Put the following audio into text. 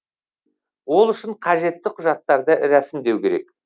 ол үшін қажетті құжаттарды рәсімдеу керек